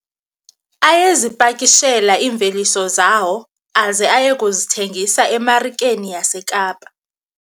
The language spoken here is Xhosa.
Ayezipakishela iimveliso zawo aze aye kuzithengisa emarikeni yaseKapa.